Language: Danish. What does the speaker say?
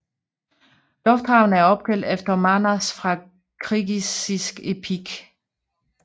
Lufthavnen er opkaldt efter Manas fra kirgisisk epik